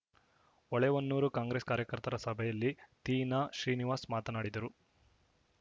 Holehonnur Congress ಕಾರ್ಯಕರ್ತರ ಸಭೆಯಲ್ಲಿ ತೀನಾಶ್ರೀನಿವಾಸ್‌ ಮಾತನಾಡಿದರು